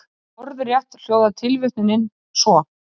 Orðrétt hljóðar tilvitnunin svo:.